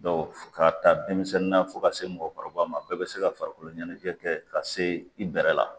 Dɔn k'a ta denmisɛnnin na fɔ k'a se mɔgɔkɔrɔba ma bɛɛ be se ka farikolo ɲɛnɛjɛ kɛ ka se i bɛrɛ la